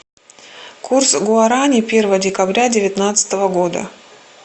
курс гуарани первого декабря девятнадцатого года